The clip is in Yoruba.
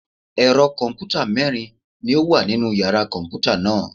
Ẹ̀rọ kọ̀m̀pútà mẹ́rin ni ó wà nínu yàrá kọ̀m̀pútà náà.